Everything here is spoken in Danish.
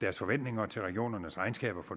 deres forventninger til regionernes regnskaber for